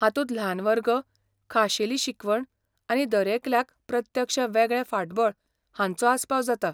हातूंत ल्हान वर्ग, खाशेली शिकवण आनी दरेकल्याक प्रत्यक्ष वेगळें फाटबळ हांचो आसपाव जाता.